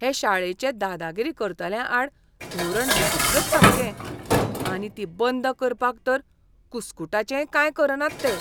हे शाळेचें दादागिरी करतल्यांआड धोरण विचित्रच सामकें. आनी ती बंद करपाक तर कुस्कूटाचेंय कांय करनात ते.